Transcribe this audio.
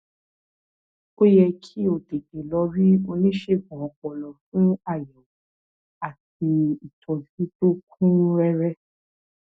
ó tún um ń fa um oríkèé ó ń fó um ó ń ṣàìsàn